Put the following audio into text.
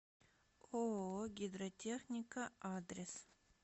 ооо гидротехника адрес